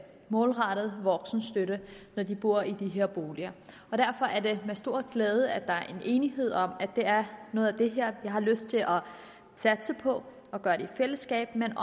målrettet voksenstøtte når de bor i de her boliger derfor er det mig en stor glæde at der er enighed om at det er noget af det her vi har lyst til at satse på i fællesskab men